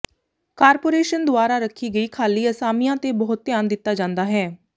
corporation ਦੁਆਰਾ ਰੱਖੀ ਗਈ ਖਾਲੀ ਅਸਾਮੀਆਂ ਤੇ ਬਹੁਤ ਧਿਆਨ ਦਿੱਤਾ ਜਾਂਦਾ ਹੈ